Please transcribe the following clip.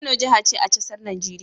Kano jahace a casar Nigeria